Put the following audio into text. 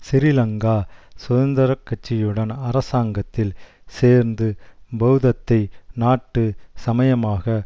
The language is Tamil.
ஸ்ரீலங்கா சுதந்திர கட்சியுடன் அரசாங்கத்தில் சேர்ந்து பெளதத்தை நாட்டு சமயமாக